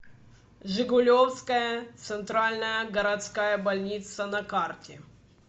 жигулевская центральная городская больница на карте